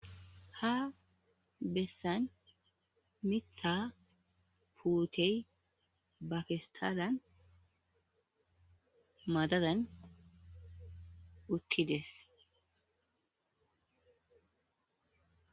Haa besanni miththa puteyi baa pesitalanni madadanni uttides.